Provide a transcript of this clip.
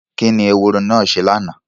Kí ni ehoro náà ṣe lánàá?